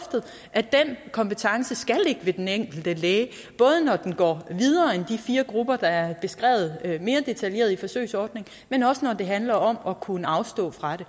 at den kompetence skal ligge ved den enkelte læge både når den går videre end de fire grupper der er beskrevet mere detaljeret i forsøgsordningen men også når det handler om at kunne afstå fra det